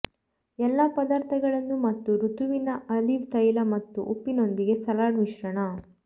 ಎಲ್ಲಾ ಪದಾರ್ಥಗಳನ್ನು ಮತ್ತು ಋತುವಿನ ಆಲಿವ್ ತೈಲ ಮತ್ತು ಉಪ್ಪಿನೊಂದಿಗೆ ಸಲಾಡ್ ಮಿಶ್ರಣ